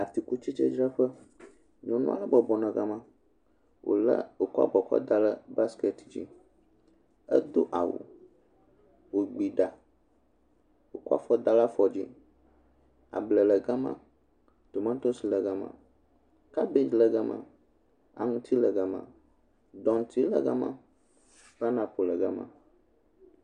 Atikutsetsedzraƒe. Nyɔnu aɖe bɔbɔ nɔ gama. Wolé, wòkɔ abɔ kɔda ɖe baskɛti dzi. Edo awu. Wògbi ɖa, kɔ afɔ da ɖe afɔ dzi. Ablɛ le gama, tomatosi le gama, kabedzi le gama, aŋuti le gama, dɔŋti le gama, paɛnapo le gama